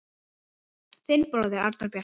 Þinn bróðir, Arnór Bjarki.